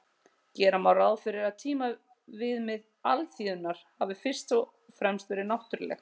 Gera má ráð fyrir að tímaviðmið alþýðunnar hafi fyrst og fremst verið náttúruleg.